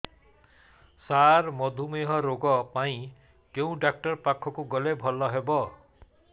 ସାର ମଧୁମେହ ରୋଗ ପାଇଁ କେଉଁ ଡକ୍ଟର ପାଖକୁ ଗଲେ ଭଲ ହେବ